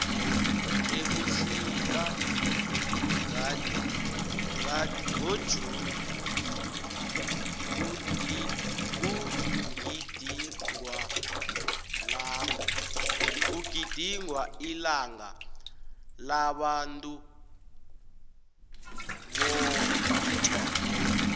ebusika ngajuni kugidingwailango labantuubotjha